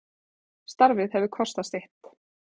Starfið hefur kostað sitt.